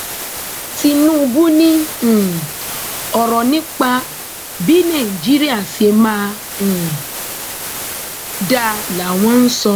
tinubu ni um ọrọ nípa bí nàìjíríà ṣe máa um dáa làwọn ń sọ